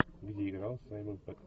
где играл саймон пегг